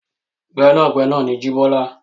Gbẹ́nàgbẹnà ni Jíbọ́lá.